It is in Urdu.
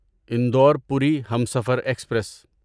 انڈور پوری ہمسفر ایکسپریس